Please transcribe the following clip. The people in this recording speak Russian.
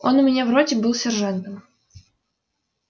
он у меня в роте был сержантом